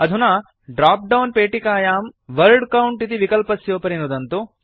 अधुना ड्राप्डौन् पेटिकायां word count इति विकल्पस्योपरि नुदन्तु